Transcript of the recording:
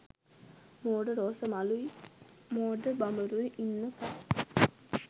මෝඩ රෝස මලුයි මෝඩ බඹරුයි ඉන්න කල්